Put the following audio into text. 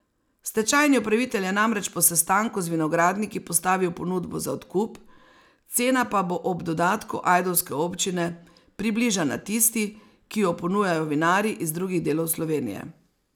Stečajni upravitelj je namreč po sestanku z vinogradniki postavil ponudbo za odkup, cena pa bo ob dodatku ajdovske občine, približana tisti, ki jo ponujajo vinarji iz drugih delov Slovenije.